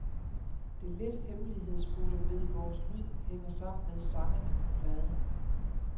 Det lidt hemmelighedsfulde ved vores lyd hænger sammen med sangene på pladen.